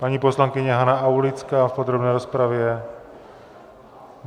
Paní poslankyně Hana Aulická v podrobné rozpravě!